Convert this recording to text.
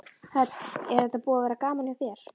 Hödd: Er þetta búið að vera gaman hjá þér?